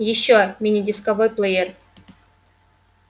ещё мини-дисковой плеер